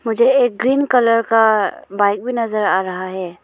जे green colour का bike भी नजर आ रहा है।